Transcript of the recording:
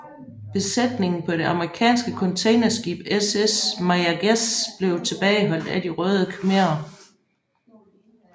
Besætningen på det amerikanske containerskib SS Mayaguez blev tilbageholdt af De Røde Khmerer